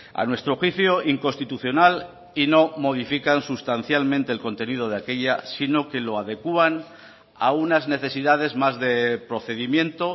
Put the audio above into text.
a nuestro juicio inconstitucional y no modifican sustancialmente el contenido de aquella sino que lo adecuan a unas necesidades más de procedimiento